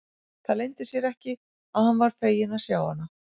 Það leyndi sér ekki að hann var feginn að sjá hana.